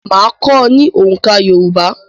Máa kọ́ ọ ní oǹká Yorùbá.